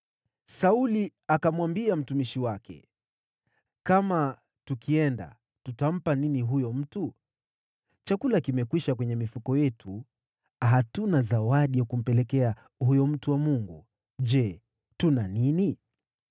Sauli akamwambia mtumishi wake, “Kama tukienda, tutampa nini huyo mtu? Chakula kimekwisha kwenye mifuko yetu. Hatuna zawadi ya kumpelekea huyo mtu wa Mungu. Je tuna nini?”